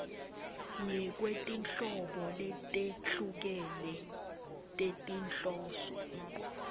ngekwetinhlobo letehlukene tetinhloso